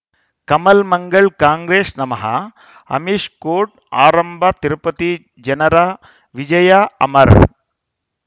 ಕಮಲ್ ಮಂಗಳ್ ಕಾಂಗ್ರೆಸ್ ನಮಃ ಅಮಿಷ್ ಕೋರ್ಟ್ ಆರಂಭ ತಿರುಪತಿ ಜನರ ವಿಜಯ ಅಮರ್